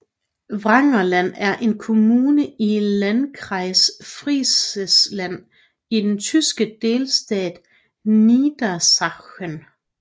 Wangerland er en kommune i Landkreis Friesland i den tyske delstat Niedersachsen